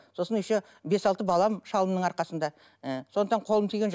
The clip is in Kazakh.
сосын еще бес алты балам шалымның арқасында ы сондықтан қолым тиген жоқ